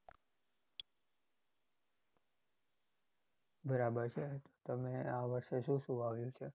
બરાબર છે તમે આ વર્ષે શું શું વાવ્યુ છે?